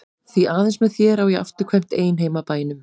Því aðeins með þér á ég afturkvæmt ein heim að bænum.